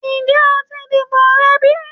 Njẹ o ti dibo rẹ bi?